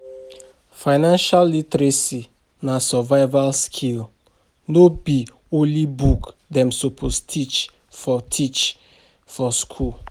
Financial literacy na survival skill, no be only book dem suppose teach for teach for school.